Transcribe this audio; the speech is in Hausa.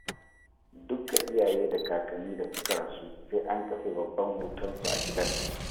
Dukka iyaye da kakanin da suka rasu sai an kafe babban hotonsu a gidan